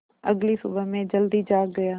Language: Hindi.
अगली सुबह मैं जल्दी जाग गया